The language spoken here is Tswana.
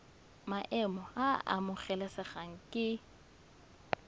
maemo a a amogelesegang ke